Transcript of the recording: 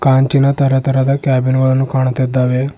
ಕಂಚಿನ ತರತರದ ಕ್ಯಾಬಿನ್ ಗಳು ಕಾಣುತ್ತಿದ್ದಾವೆ.